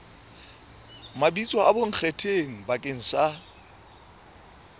mabitso a bonkgetheng bakeng sa